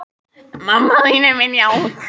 Dúnna, hringdu í Gígjar.